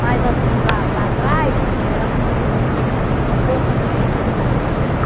Mas, assim, para para trás era assim um um poço, assim, era fundo.